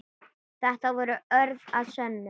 Þetta voru orð að sönnu.